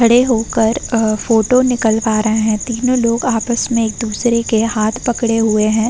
खड़े होकर अ फोटो निकलवा रहे हैं। तीनों लोग आपस में एक-दूसरे के हाथ पकडे हुए हैं।